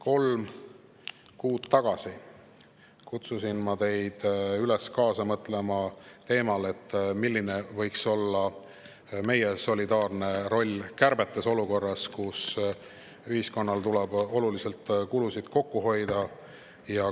Kolm kuud tagasi kutsusin ma teid üles kaasa mõtlema teemal, et milline võiks olla meie solidaarne roll kärbetes olukorras, kus ühiskonnal tuleb kulusid oluliselt kokku hoida.